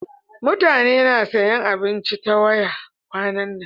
Mutane na sayan abinci ta waya kwanan nan.